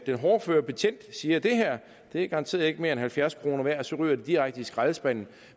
den hårdføre betjent siger det her er garanteret ikke mere end halvfjerds kroner værd og så ryger det direkte i skraldespanden